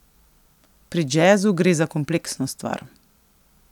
Pri džezu, gre za kompleksno stvar.